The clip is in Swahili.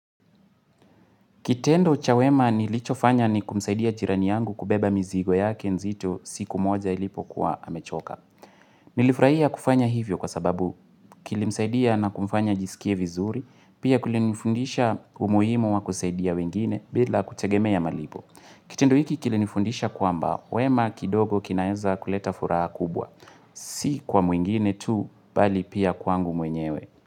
Kitendo cha wema nilichofanya ni kumsaidia jirani yangu kubeba mizigo yake nzito siku moja ilipokuwa amechoka. Nilifurahia kufanya hivyo kwa sababu kilimsaidia na kumfanya ajisikie vizuri, pia kulinifundisha umuhimu wa kusaidia wengine bila kutegemea malipo. Kitendo hiki kilinifundisha kwamba, wema kidogo kinaeza kuleta furaha kubwa, si kwa mwingine tu, bali pia kwangu mwenyewe.